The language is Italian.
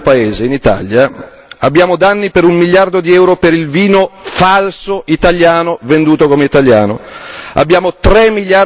Ogni anno giusto per stare nel mio paese in Italia abbiamo danni per un miliardo di euro per il vino falso italiano venduto come italiano